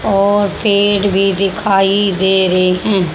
और पेड़ भी दिखाई दे रहे हैं।